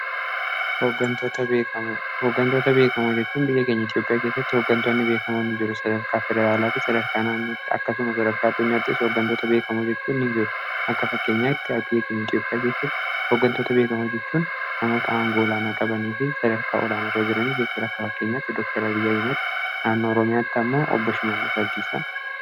hoogantoota beekama hojjechuun biyya keenya etiyopiyaa geessatti hooggantoonni biyyakamoonni jiru sadarkaa fedaraalaa fi sadarkaa naannutti akkasuma sadarkaa addunyaattis hoogantoota beekama hojjechuun ni jiru akka fakkeenyaatti biya keenya etiyoopiyaa geessatti ooggantoota beekama hojjechuun namoota angoolaanaa qabanii fi sadarkaa olaana rajiranii jechuun akka fakkeenyaatti dooktara biyyaa himad naannoo roomiyaatti ammoo obboshimalla sabdiisa